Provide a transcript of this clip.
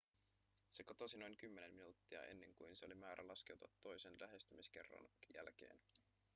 se katosi noin kymmenen minuuttia ennen kuin sen oli määrä laskeutua toisen lähestymiskerran jälkeen